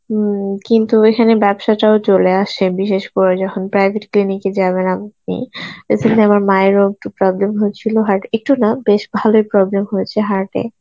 হুম কিন্তু এখানে ব্যবসাটাও চলে আসে বিশেষ করে যখন private clinic এ যাবেন আপনি এছাড়া আমার মায়ের ও একটু problem হয়েছিল heart, একটু না বেশ ভালই problem হয়েছে heart এ